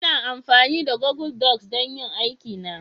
Ina amfani da Google docs don yin aikina